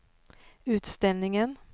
utställningen